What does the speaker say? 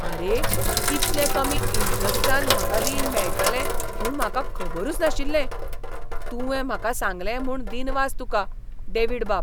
आरे ! इतले कमी इंट्रॅस्टान म्हाका रीण मेळटलें म्हूण म्हाका खबरूच नाशिल्लें. , तुवें म्हाका सांगलें म्हूण दिनवास तुकां, डेव्हिडबाब.